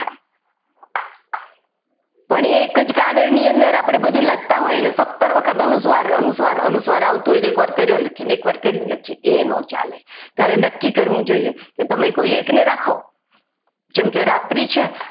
પણ એક જ કાગળ ની અંદર આપણે બધું લખતા હોય અને સત્તર વખત અનુસ્વાર અનુસ્વાર અનુસ્વાર આવતું હોય તો એકવાર કર્યો લખીએ અને એકવાર કરી લખીએ તો એ ના ચાલે ત્યારે નક્કી કરવું જોઈએ કે તમે કોઈ એકને રાખો જેમ કે રાત્રિ છે.